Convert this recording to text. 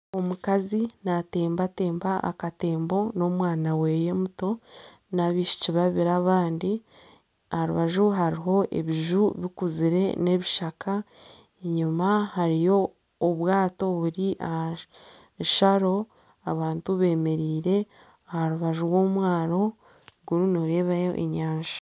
Omukazi natembatemba akatembo n'omwana we muto nana abaishiki babiri abandi. Aha rubaju hariho ebiju bikuzire n'ebishaka. Enyima hariyo obwato buri aha sharo. Abantu bemereire aha rubaju rw'omwaro, kunu noarebayo enyanja.